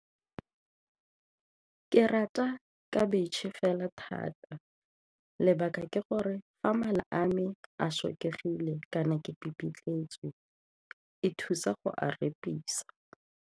Ke rata khabetšhe fela thata, lebaka ke gore fa mala a me a sotlegile kana ke pipitletswe e thusa go a repisa.